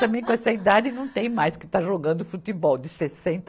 Também com essa idade, não tem mais que estar jogando futebol, de sessenta